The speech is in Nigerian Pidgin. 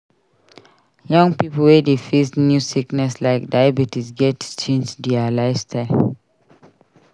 Young pipo wey dey face new sickness like diabetes gats change dia lifestyle.